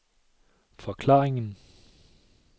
forklaringen